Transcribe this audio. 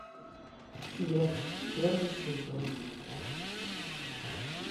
след первый сезон